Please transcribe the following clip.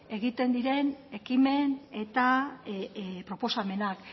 egiten diren ekimen eta proposamenak